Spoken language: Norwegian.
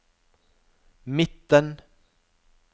midten